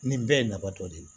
Nin bɛɛ ye nafa dɔ de ye